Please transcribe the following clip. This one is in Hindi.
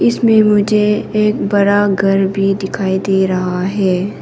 इसमें मुझे एक बड़ा घर भी दिखाई दे रहा है।